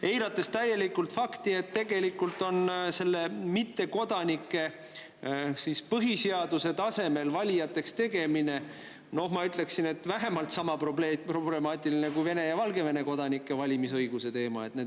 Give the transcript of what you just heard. Aga eiratakse täielikult fakti, et tegelikult on mittekodanike põhiseaduse tasemel valijateks tegemine, ma ütleksin, vähemalt sama problemaatiline kui Vene ja Valgevene kodanike valimisõiguse teema.